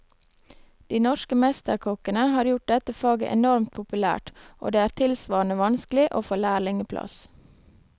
De norske mesterkokkene har gjort dette faget enormt populært, og det er tilsvarende vanskelig å få lærlingeplass.